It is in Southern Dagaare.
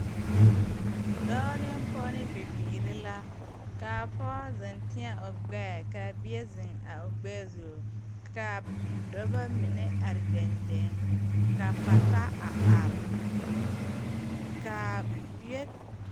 Dɔɔ ne pɔɔ ne bibiire la kaa pɔɔ zeŋ teɛ o gbɛɛ kaa bie zeŋ a o gbɛɛ zu kaa dɔbɔ mine are deŋ deŋ ka pata are kaa bie.